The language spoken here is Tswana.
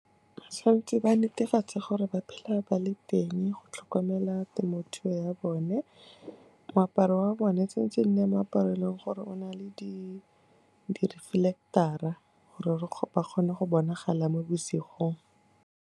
Ba tshwan'tse ba netefatse gore ba phela ba le teng go tlhokomela temothuo ya bone, moaparo wa bone tshwan'tse e nne moaparo e e leng gore o na le di-reflector-a gore ba kgone go bonagala mo bosigong.